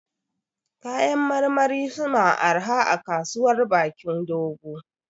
Kayan marmari su ma arha a Kasuwar Bakin Dogo